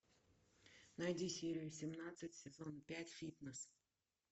найди серию семнадцать сезон пять фитнес